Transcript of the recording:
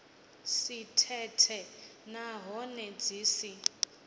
si thethe nahone dzi si